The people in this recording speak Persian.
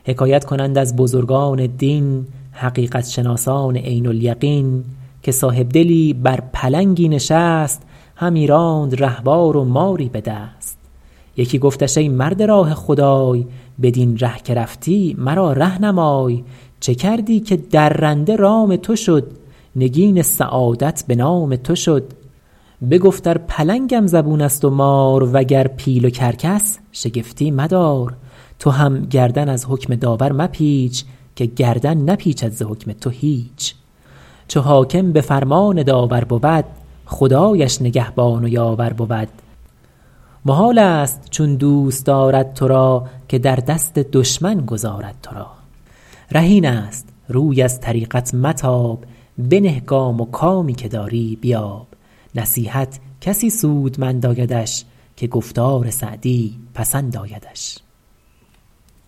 حکایت کنند از بزرگان دین حقیقت شناسان عین الیقین که صاحبدلی بر پلنگی نشست همی راند رهوار و ماری به دست یکی گفتش ای مرد راه خدای بدین ره که رفتی مرا ره نمای چه کردی که درنده رام تو شد نگین سعادت به نام تو شد بگفت ار پلنگم زبون است و مار وگر پیل و کرکس شگفتی مدار تو هم گردن از حکم داور مپیچ که گردن نپیچد ز حکم تو هیچ چو حاکم به فرمان داور بود خدایش نگهبان و یاور بود محال است چون دوست دارد تو را که در دست دشمن گذارد تو را ره این است روی از طریقت متاب بنه گام و کامی که داری بیاب نصیحت کسی سودمند آیدش که گفتار سعدی پسند آیدش